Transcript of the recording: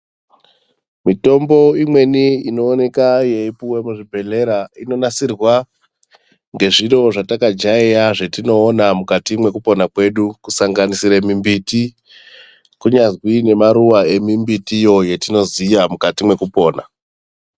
Mwitombo imweni inooneka yeipuwa muzvibhedleya inonasirwa ngezviro zvatakajaiya zvetinoona mukati mwekupona kwedu kusanganisire mumbiti kunyazwi nemaruva emimbitiyo yetinoziya mwukati mwekupona.